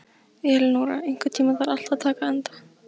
Elinóra, einhvern tímann þarf allt að taka enda.